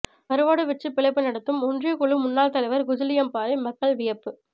கருவாடு விற்று பிழைப்பு நடத்தும் ஒன்றிய குழு முன்னாள் தலைவர் குஜிலியம்பாறை மக்கள் வியப்பு